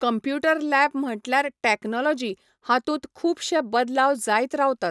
Computer lab म्हणटल्यार technology हातूंत खूबशे बदलाव जायत रावतात.